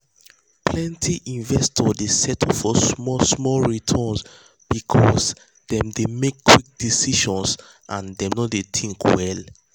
plenti investors dey settle for small small returns because dem dey make quick decisions and dem no dey think well.